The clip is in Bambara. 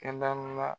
Kɛnɛ la